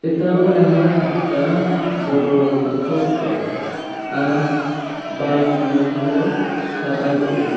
এটা মনে হয় একটা বড় হোস্টেল আর বাড়ির রং হল সাদা করে।